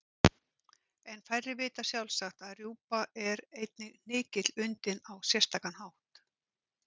En færri vita sjálfsagt að rjúpa er einnig hnykill undinn á sérstakan hátt.